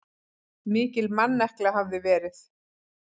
Mikil mannekla hafi verið.